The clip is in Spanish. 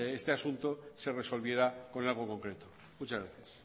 este asunto se resolviera con algo concreto muchas gracias